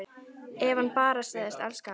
Ef hann bara segðist elska hana: